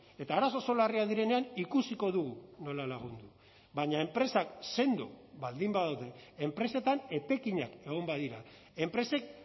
eta arazo oso larriak direnean ikusiko dugu nola lagundu baina enpresak sendo baldin badaude enpresetan etekinak egon badira enpresek